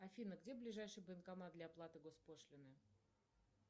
афина где ближайший банкомат для оплаты госпошлины